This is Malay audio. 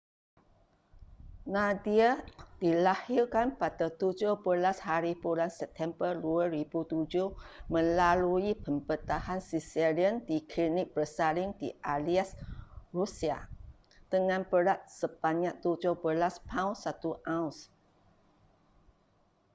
nadia dilahirkan pada 17hb september 2007 melalui pembedahan caesarean di klinik bersalin di aleisk rusia dengan berat sebanyak 17 paun 1 auns